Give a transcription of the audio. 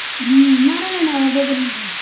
ಹ್ಮ ಮಾಡಲ್ಲ ಅಣ್ಣ ಒಬ್ಬೊಬ್ಬರ ಮಾಡಲ್ಲ.